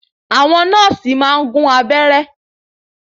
Àwọn nọ́ọ̀sì maá n gún abẹ́ẹ́rẹ́